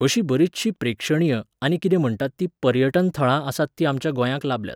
अशी बरिचशीं प्रेक्षणीय, आनी किदें म्हणटात तीं पर्यटन थळां आसात तीं आमच्या गोंयांक लाबल्यांत.